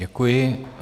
Děkuji.